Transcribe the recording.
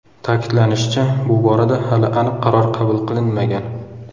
Ta’kidlanishicha, bu borada hali aniq qaror qabul qilinmagan.